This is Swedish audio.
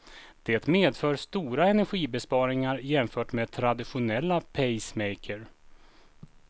Det medför stora energibesparingar jämfört med traditionella pacemaker.